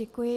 Děkuji.